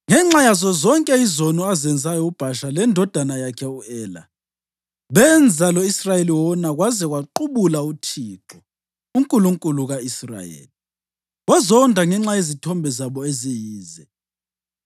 ngenxa yazo zonke izono azenzayo uBhasha lendodana yakhe u-Ela; benza lo-Israyeli wona kwaze kwaqubula uThixo, uNkulunkulu ka-Israyeli, wazonda ngenxa yezithombe zabo eziyize.